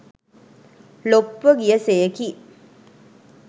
ලොප්ව ගිය සෙයකි.